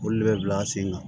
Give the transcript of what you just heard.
Olu de bɛ bila sen kan